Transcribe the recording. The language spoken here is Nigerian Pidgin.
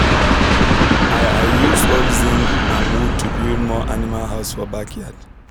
i i use old zince and wood to build more animal house for backyard